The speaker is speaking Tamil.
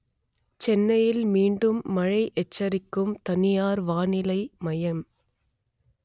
சென்னையில் மீண்டும் மழை எச்சரிக்கும் தனியார் வானிலை மையம்